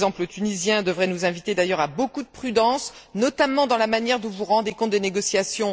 L'exemple tunisien devrait nous inviter d'ailleurs à beaucoup de prudence, notamment dans la manière dont vous rendez compte des négociations.